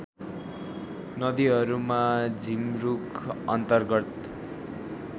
नदीहरूमा झिमरुक अन्तर्गत